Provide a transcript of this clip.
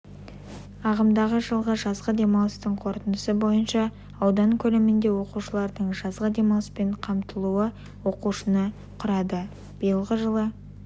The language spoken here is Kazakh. ағымдады жылғы жазғы демалыстың қорытындысы бойынша аудан көлемінде оқушылардың жазғы демалыспен қамтылуы оқушыны құрады биылғы жылы